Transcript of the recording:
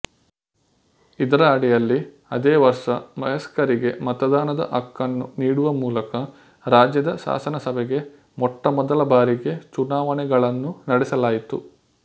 ಇದರ ಅಡಿಯಲ್ಲಿ ಅದೇ ವರ್ಷ ವಯಸ್ಕರಿಗೆ ಮತದಾನದ ಹಕ್ಕನ್ನು ನೀಡುವ ಮೂಲಕ ರಾಜ್ಯದ ಶಾಸನಸಭೆಗೆ ಮೊಟ್ಟಮೊದಲಬಾರಿಗೆ ಚುನಾವಣೆಗಳನ್ನು ನಡೆಸಲಾಯಿತು